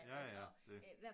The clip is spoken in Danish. Ja ja det